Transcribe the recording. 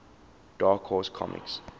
dark horse comics